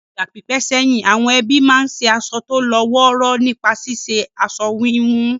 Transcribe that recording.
Ní ìgbà pípẹ́ sẹ́yìn, àwọn ẹbí máa ń ṣe aṣọ tó lọ́ wọ́ọ́rọ́ nípa ṣíṣe aṣọ wíwun